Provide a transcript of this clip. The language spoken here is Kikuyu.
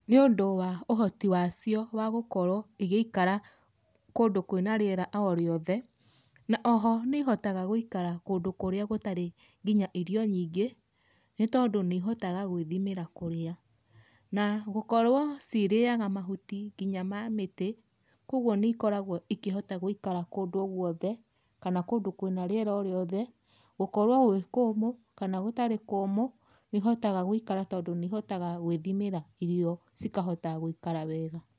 Nĩũndũ wa ũhoti wacio wa gũkoro igĩikara kũndũ kwĩna rĩera o rĩothe, na o ho nĩ ihotaga gũikara kũndũ kũrĩa gũtarĩ nginya irio nyingĩ, nĩ tondũ nĩ ihotaga gwĩthimĩra kũrĩa. Na gũkorwo ciriaga mahuti nginya ma mĩtĩ, kwoguo nĩ ikoragwo ikĩhota gũikara kũndũ o gũothe, kana kũndũ kwĩna rĩera o rĩothe, gũkorwo gwĩ kũmũ kana gũtarĩ kũmũ, nĩ ihotaga gũikara tondũ nĩ ihotaga gwĩthimĩra irio cikahota gũikara wega.